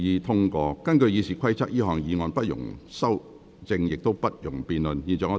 根據《議事規則》，這項議案不容修正，亦不容辯論。